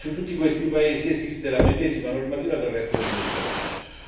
Ebbene, in tutti questi paesi vige la medesima normativa del resto del Mediterraneo.